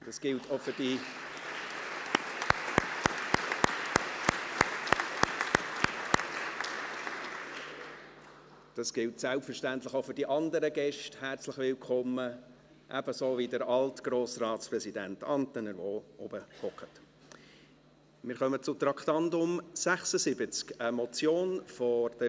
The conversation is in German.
Das gilt selbstverständlich auch für die anderen Gäste wie den Alt-Grossratspräsidenten Antener, der ebenfalls dort oben sitzt: herzlich willkommen.